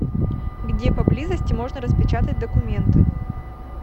где поблизости можно распечатать документы